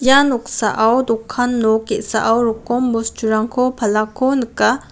ia noksao dokan nok ge·sao rokom bosturangko palako nika.